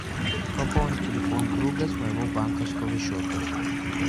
пополнить телефон друга с моего банковского счета